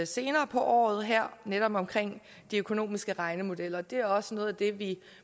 senere på året her netop om de økonomiske regnemodeller og det er også noget af det vi